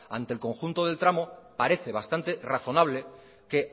ante el conjunto del tramo parece bastante razonable que